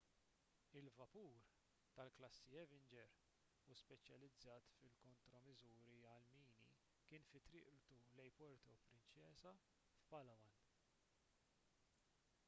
il-vapur tal-klassi avenger u speċjalizzat fil-kontromiżuri għall-mini kien fi triqtu lejn puerto princesa f'palawan